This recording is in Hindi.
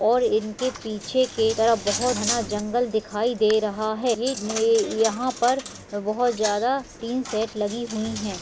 --और इनके पीछे के तरफ बहुत घना जंगल दिखाई दे रहा हैं यहाँ पर बहुत ज़्यादा टीन सेट लगी हुई हैं।